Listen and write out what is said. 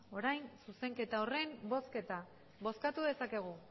orain zuzenketa horren bozketa bozkatu dezakegu